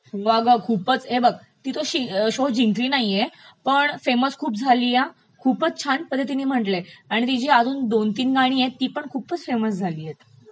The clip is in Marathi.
हो अगं खूपचं, हे बघ ती तो शो जिंकली नाहीये, पण खूपचं फेसम झालीय खूपचं छान पध्दतीने म्हटलयं आणि तिची अजून दोन तीन गाणी आहेत ती पण खूपचं फेमस झालीयत,